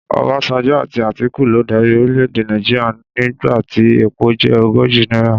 Ọbásanjọ́ àti Àtíkù ló darí orílẹ̀ èdè Nàìjíríà nígbà tí epo jẹ́ ogójì náírà.